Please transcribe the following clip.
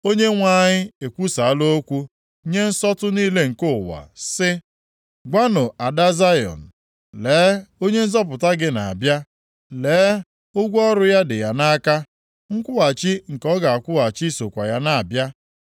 Onyenwe anyị ekwusaala okwu nye nsọtụ niile nke ụwa sị, “Gwanụ Ada Zayọn, ‘Lee Onye Nzọpụta gị na-abịa! Lee, ụgwọ ọrụ ya dị ya nʼaka, nkwụghachi nke ọ ga-akwụghachi sokwa ya na-abịa.’ ”